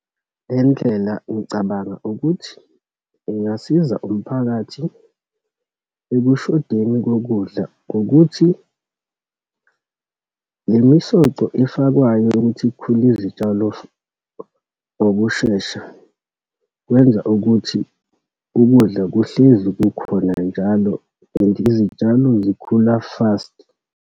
Le ndlela ngicabanga ukuthi ingasiza umphakathi ekushodeni kokudla ngokuthi, lemisoco efakwayo yokuthi kukhule izitshalo ngokushesha, kwenza ukuthi ukudla kuhlezi kukhona njalo. And izitshalo zikhula fast.